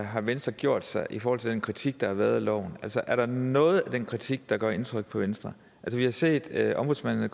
har venstre gjort sig i forhold til den kritik der har været af loven er der noget af den kritik der gør indtryk på venstre vi har set at ombudsmanden af